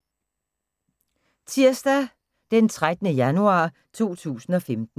Tirsdag d. 13. januar 2015